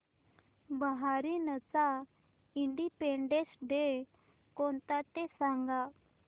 बहारीनचा independence day कोणता ते सांगा